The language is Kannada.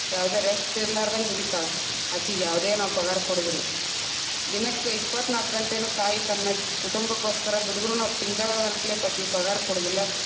ಯಾವುದೆ rest ಇರಲಾರದಂಗ ದುಡಿತಾಳ ಅಕೀಗ ಯಾವುದೆ ನಾವ ಪಗಾರ ಕೊಡುದಿಲ್ಲ. ದಿನಕ್ಕೆ ಇಪ್ಪತ್ತನಾಲ್ಕು ಗಂಟೇನು ತಾಯಿ ತನ್ನ ಕುಟುಂಬಕ್ಕೋಸ್ಕರ ದುಡುದ್ರುನು ನಾವು ತಿಂಗಳ ಅಂತ್ಲೆ ನಾವ ಅಕಿಗೇ ಪಗಾರ ಕೊಡುದಿಲ್ಲಾ.